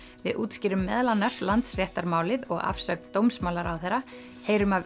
við útskýrum meðal annars Landsréttarmálið og afsögn dómsmálaráðherra heyrum af